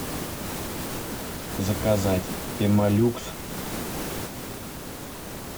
заказать пемолюкс